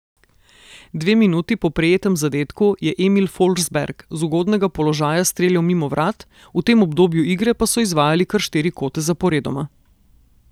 Dve minuti po prejetem zadetku je Emil Forsberg z ugodnega položaja streljal mimo vrat, v tem obdobju igre pa so izvajali kar štiri kote zaporedoma.